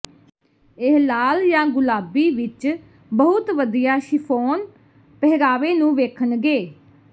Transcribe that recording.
ਇਹ ਲਾਲ ਜਾਂ ਗੁਲਾਬੀ ਵਿਚ ਬਹੁਤ ਵਧੀਆ ਸ਼ਿਫ਼ੋਨ ਪਹਿਰਾਵੇ ਨੂੰ ਵੇਖਣਗੇ